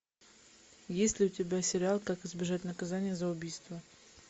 есть ли у тебя сериал как избежать наказания за убийство